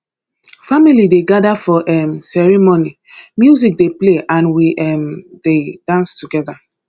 family dey gather for um ceremony music dey play and we um dey dance together